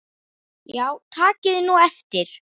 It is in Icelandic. Já takið nú eftir.